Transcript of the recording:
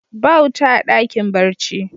Ba wuta a dakin barci.